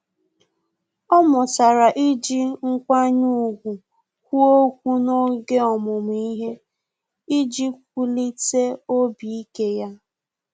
Ọ́ mụtara iji nkwanye ùgwù kwuo okwu n’oge ọmụmụ ihe iji wulite obi ike ya.